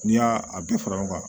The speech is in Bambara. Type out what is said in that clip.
N'i y'a a bɛ fara ɲɔgɔn kan